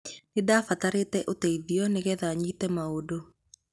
Nĩndafataire ũteithio nĩgetha nyite maũndũ.